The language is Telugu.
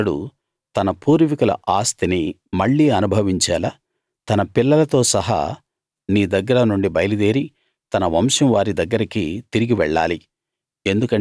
అప్పుడతడు తన పూర్వీకుల ఆస్తిని మళ్లీ అనుభవించేలా తన పిల్లలతో సహా నీ దగ్గర నుండి బయలు దేరి తన వంశం వారి దగ్గరికి తిరిగి వెళ్ళాలి